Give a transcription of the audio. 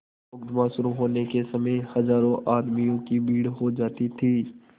मुकदमा शुरु होने के समय हजारों आदमियों की भीड़ हो जाती थी